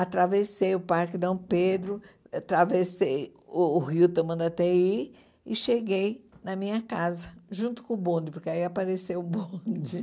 Atravessei o Parque Dom Pedro, atravessei o Rio Tamandatei e cheguei na minha casa, junto com o bonde, porque aí apareceu o bonde.